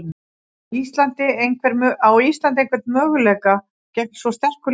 Á Ísland einhvern möguleika gegn svo sterku liði?